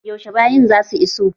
Yaushe bayin za su iso??